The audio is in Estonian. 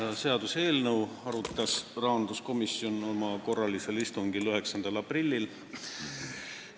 Seda seaduseelnõu arutas rahanduskomisjon oma korralisel istungil 9. aprillil.